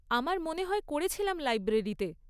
আমার মনে হয় করেছিলাম লাইব্রেরিতে।